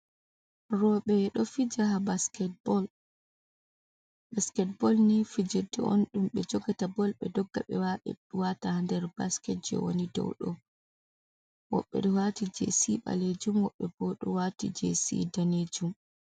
Robeh doh fija basket bol. Basket bol ni fijirde on ɗum beh jogata bol be ɗogga beh wata der basket je woni dow doh. Wobɓe ɗo wati je si balejum wobɓe boh doh wati je si danejum.